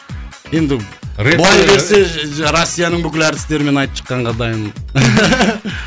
енді былай берсе россияның бүкіл әртістерімен айтып шыққанға дайынмын